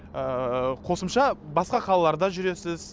ыыы қосымша басқа қалаларда жүресіз